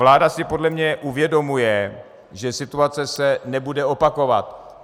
Vláda si podle mě uvědomuje, že se situace nebude opakovat.